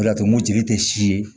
O de y'a to mototigi tɛ si ye